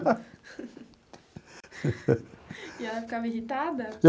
E ela ficava irritada?